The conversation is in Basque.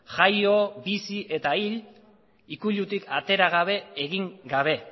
jaio bizi eta hil ikuilutik atera gabe egin gabe